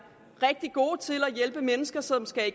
rigtig gode til at hjælpe unge mennesker som skal i